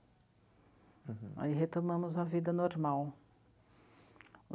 Uhum. Aí retomamos a vida normal.